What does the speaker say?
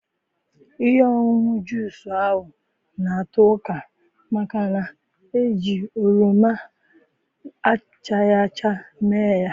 Ihe ọṅụṅụ juz ahụ na-ato ụka màkà na-iji oroma achara acha mee ya.